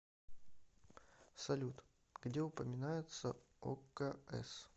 салют где упоминается окс